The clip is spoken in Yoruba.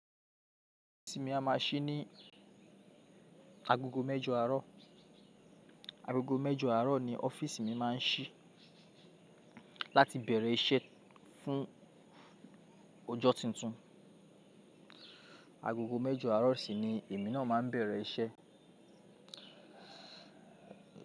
Ọ́fíìsì mi a máa ṣí ní agogo mẹ́jọ àárọ̀. Agogo mẹ́jọ àárọ̀ ni ọ́fíìsì mi má a ń ṣí láti bẹ̀rẹ̀ iṣẹ́ fún ọjọ́ tuntun. Agogo mẹ́jò àárọ̀ sì ni èmi náà má ń bẹ̀rẹ̀ iṣẹ́